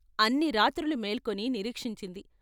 అన్ని రాత్రులు మేల్కొని నిరీక్షించింది.